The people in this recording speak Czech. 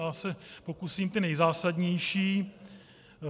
Já se pokusím ty nejzásadnější.